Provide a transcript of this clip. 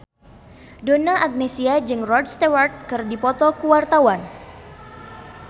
Donna Agnesia jeung Rod Stewart keur dipoto ku wartawan